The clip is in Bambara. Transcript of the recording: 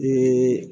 Bi